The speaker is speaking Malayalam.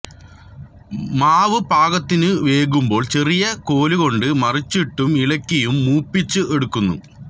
മാവ് പാകത്തിനു വേകുമ്പോൾ ചെറിയ കോലുകൊണ്ട് മറിച്ചിട്ടും ഇളക്കിയും മൂപ്പിച്ച് എടുക്കുന്നു